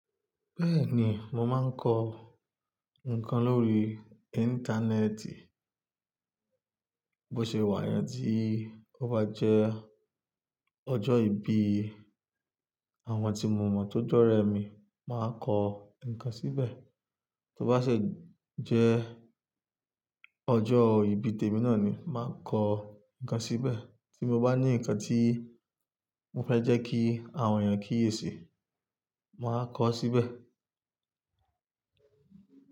Bẹ́ẹ̀ni, mo máa ń kọ nǹkan lórí íńtánẹ́ẹ̀tì. Bí ó ṣe wà yẹn tí ó bá jẹ́ ọjọ́ ìbí àwọn tí mo mọ̀ tó jọ́rẹ mi, màá kọ ǹkan síbẹ̀. Tí ó bá ṣe jẹ́ ọjọ́ ìbí tèmi náà ni, màá kọ ǹkan síbẹ̀. Tí mo bá ní ǹkan tí mo fẹ́ jẹ́ kí àwọn èèyàn kíyèsi, màá kọ ọ́ síbẹ̀.